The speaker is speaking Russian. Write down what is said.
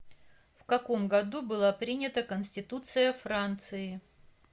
в каком году была принята конституция франции